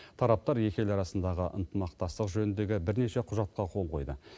тараптар екі ел арасындағы ынтымақтастық жөніндегі бірнеше құжатқа қол қойды